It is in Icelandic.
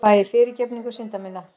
Fæ ég fyrirgefningu synda minna?